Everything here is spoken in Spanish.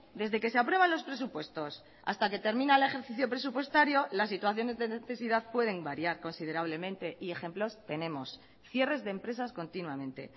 desde que se aprueban los presupuestos hasta que termina el ejercicio presupuestario la situación de necesidad pueden variar considerablemente y ejemplos tenemos cierres de empresas continuamente